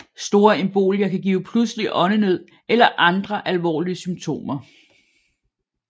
Store embolier kan give pludselig åndenød eller andre alvorlige symptomer